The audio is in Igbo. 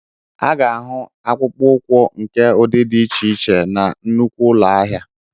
A ga-ahụ akpụkpọ ụkwụ nke ụdị dị iche iche na nnukwu ụlọ ahịa